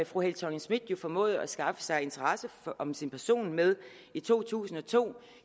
fru helle thorning schmidt formåede at skaffe sig interesse om sin person med i to tusind og to